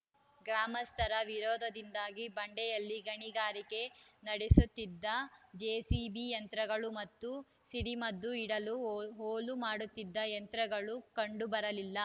ಗ್ರಾಮಸ್ಥರ ವಿರೋಧದಿಂದಾಗಿ ಬಂಡೆಯಲ್ಲಿ ಗಣಿಗಾರಿಕೆ ನಡೆಸುತ್ತಿದ್ದ ಜೆಸಿಬಿ ಯಂತ್ರಗಳು ಮತ್ತು ಸಿಡಿ ಮದ್ದು ಇಡಲು ಹೋಲು ಮಾಡುತ್ತಿದ್ದ ಯಂತ್ರಗಳು ಕಂಡು ಬರಲಿಲ್ಲ